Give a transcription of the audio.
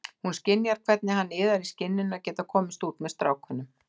Hún skynjar hvernig hann iðar í skinninu að geta komist út með strákunum.